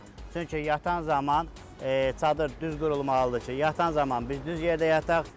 Çünki yatan zaman çadır düz qurulmalıdır ki, yatan zaman biz düz yerdə yataq.